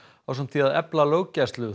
ásamt því að efla löggæslu